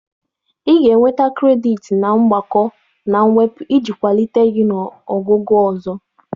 Ị ga-enweta kredit na mgbakọ na mwepụ iji kwalite gị ị ga na ogugo ọzọ.